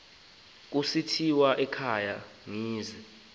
kusithiwa ekhaya kwezinje